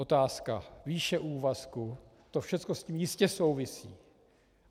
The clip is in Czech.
Otázka výše úvazku, to všecko s tím jistě souvisí.